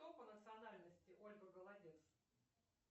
кто по национальности ольга голодец